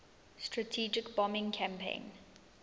strategic bombing campaign